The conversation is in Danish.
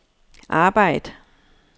arbejd